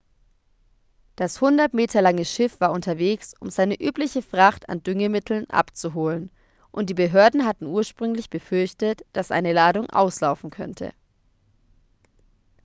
das 100 meter lange schiff war unterwegs um seine übliche fracht an düngemitteln abzuholen und die behörden hatten ursprünglich befürchtet dass eine ladung auslaufen könnte